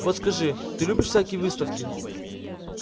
вот скажи ты любишь всякие выставки